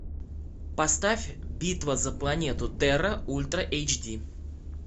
поставь битва за планету терра ультра эйч ди